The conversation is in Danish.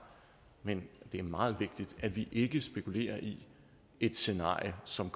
men det er meget vigtigt at vi ikke spekulerer i et scenarie som